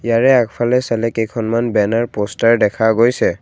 ইয়াৰে আগফালে চালে কেইখনমান বেনাৰ প'ষ্টাৰ দেখা গৈছে।